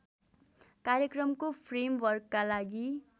कार्यक्रमको फ्रेमवर्कका लागि